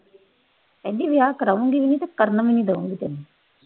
ਕਹਿੰਦੀ ਵਿਆਹ ਕਰਵਾਉਗੀ ਵੀ ਨਹੀਂ ਤੇ ਕਰਨ ਵੀ ਨੀ ਦੇਊਗੀ ਤੈਨੂੰ।